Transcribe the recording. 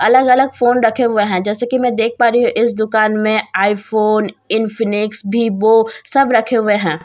अलग अलग फोन रखे हुए हैं जैसा की मैं देख पा रही हूँ इस दुकान मे आईफोन इंफीनिक्स विव्हओ सब रखे हुए हैं।